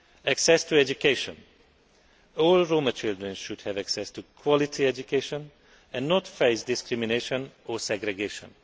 Access to education all Roma children should have access to quality education and not face discrimination or segregation.